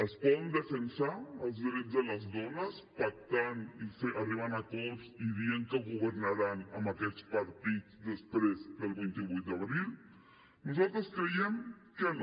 es poden defensar els drets de les dones pactant i arribant a acords i dient que governaran amb aquests partits després del vint vuit d’abril nosaltres creiem que no